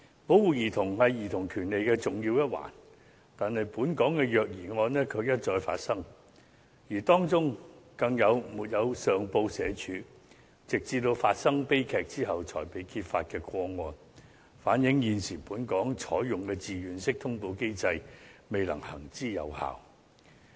保護兒童是兒童權利的重要一環，但本港卻一再發生虐兒個案，更有沒有上報社會福利署，直至發生悲劇後才被揭發的個案，反映現時本港採用的自願式通報機制未能行之有效。